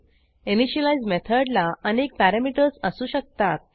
initialise मेथडला अनेक parameters असू शकतात